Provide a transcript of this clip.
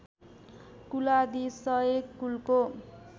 कुलादि सय कुलको